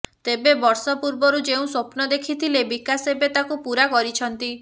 ତେବେ ବର୍ଷ ପୂର୍ବରୁ ଯେଉଁ ସ୍ବପ୍ନ ଦେଖିଥିଲେ ବିକାଶ ଏବେ ତାକୁ ପୁରା କରିଛନ୍ତି